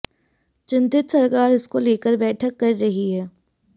चिंतित सरकार इसको लेकर बैठक कर रही है